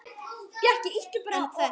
En hvert?